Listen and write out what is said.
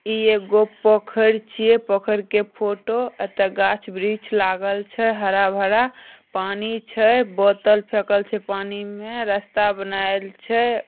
इ एक गो पोखर छिए पोखर के फोटो अते गाछ ब्रीछ लगल छै हरा भरा पानी छै बोतल फेकल छै पानी मे रास्ता बनाईल छै ।